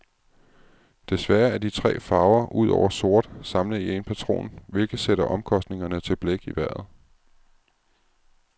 Desværre er de tre farver, udover sort, samlet i en patron, hvilket sætter omkostningerne til blæk i vejret.